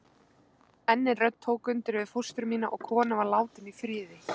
Enn ein rödd tók undir við fóstru mína og konan var látin í friði.